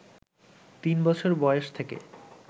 তিন বছর বয়স থেকে